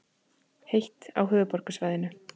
Heitt á höfuðborgarsvæðinu